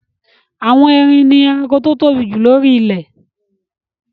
Àwọn erin ni ẹranko tó tóbi jù lóri ilẹ̀